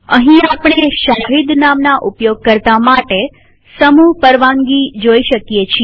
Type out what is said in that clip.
અહીં આપણે શહીદ નામના ઉપયોગકર્તા માટે સમૂહ પરવાનગી જોઈ શકીએ છીએ